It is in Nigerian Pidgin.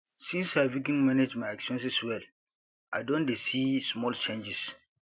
since i begin manage my expenses well i don dey see small changes